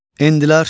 Endilər,